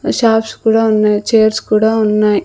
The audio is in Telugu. షాప్స్ కూడా ఉన్నాయి చైర్స్ కూడా ఉన్నాయి.